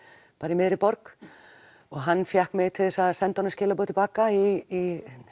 í miðri borg og hann fékk mig til að senda honum skilaboð til baka í